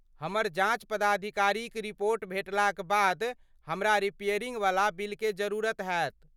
हमर जॉच पदाधिकारीक रिपोर्ट भेटलाक बाद हमरा रिपेयरिंग वला बिलके जरुरत हैत।